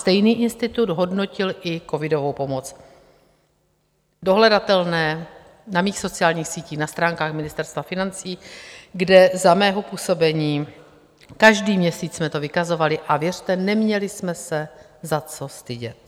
Stejný institut hodnotil i covidovou pomoc, dohledatelné na mých sociálních sítích, na stránkách Ministerstva financí, kde za mého působení každý měsíc jsme to vykazovali, a věřte, neměli jsme se za co stydět.